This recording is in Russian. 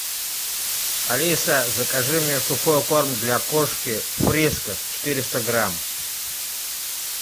алиса закажи мне сухой корм для кошки фрискас четыреста грамм